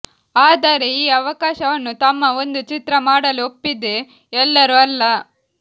ಆದರೆ ಈ ಅವಕಾಶವನ್ನು ತಮ್ಮ ಒಂದು ಚಿತ್ರ ಮಾಡಲು ಒಪ್ಪಿದೆ ಎಲ್ಲರೂ ಅಲ್ಲ